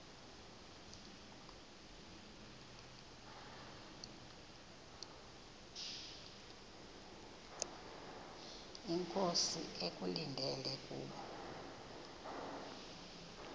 inkosi ekulindele kubo